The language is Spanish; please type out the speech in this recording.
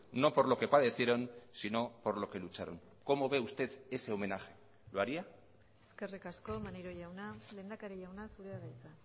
no por lo que padecieron sino por lo que lucharon como ve usted ese homenaje lo haría eskerrik asko maneiro jauna lehendakari jauna zurea da hitza